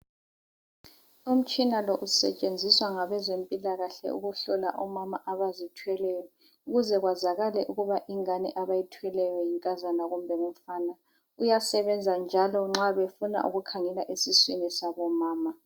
Umtshina lo usetshenziswa ngabezempilakahle ukuhlola omama abazithweleyo. Ukuze kwazakale ukuba ingane abayithweleyo, yinkazana kumbe ngumfana.. Uyasebenza njalo nxa befuna ukukhangela esiswini sabomama.